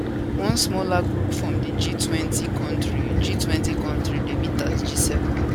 one smaller group from di g20 kontris g20 kontris dey meet as g7